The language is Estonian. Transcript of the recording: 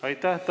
Aitäh!